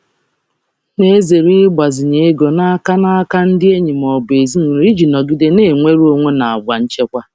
M na-ezere ịgbazinye ego n’aka ndị enyi ma ọ bụ ezinụlọ iji nọgide na-enwe nnwere onwe n’àgwà nchekwa.